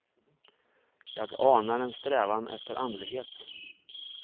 Jag anar en strävan efter andlighet.